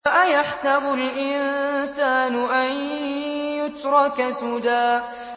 أَيَحْسَبُ الْإِنسَانُ أَن يُتْرَكَ سُدًى